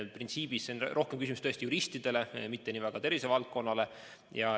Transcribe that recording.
Printsiibilt see on rohkem küsimus juristidele, mitte tervisevaldkonnale.